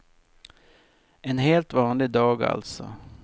En helt vanlig dag, alltså.